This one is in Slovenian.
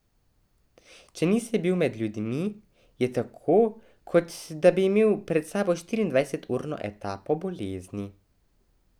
Če nisi bil med ljudmi, je tako, kot da bi imel za sabo štirindvajseturno etapo bolezni.